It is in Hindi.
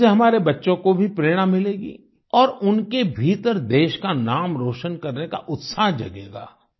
इनसे हमारे बच्चों को भी प्रेरणा मिलेगी और उनके भीतर देश का नाम रोशन करने का उत्साह जगेगा